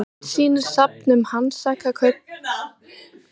myndin sýnir safn um hansakaupmenn í björgvin í noregi